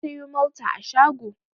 Na sayo Malta a shago.